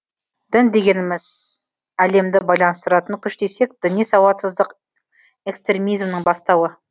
дін дегеніміс әлемді байланыстыратын күш десек діни сауатсыздық экстремизмнің бастауы